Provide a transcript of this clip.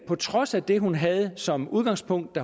på trods af det hun havde som udgangspunkt